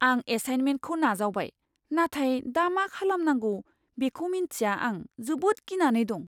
आं एसाइनमेन्टखौ नाजावबाय नाथाय दा मा खालामनांगौ बेखौ मिन्थिया आं जोबोद गिनानै दं।